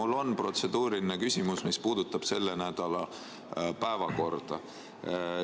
Mul on protseduuriline küsimus, mis puudutab selle nädala päevakorda.